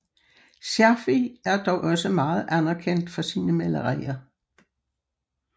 Scherfig er dog også meget anerkendt for sine malerier